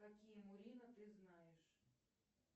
какие мурино ты знаешь